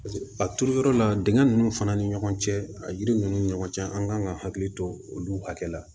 a turu yɔrɔ la dingɛ ninnu fana ni ɲɔgɔn cɛ a yiri ninnu ni ɲɔgɔn cɛ an kan ka hakili to olu hakɛ la